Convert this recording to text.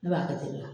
Ne b'a kɛ ten tɔ